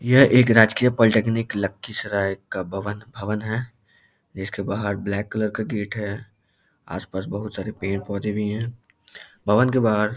यह एक राजकीय पोलिटिकनिक लखीसराय का भवन है इसके बाहर ब्लैक कलर का गेट है आस-पास बहुत सारे पेड़-पौधे भी हैं भवन के बाहर --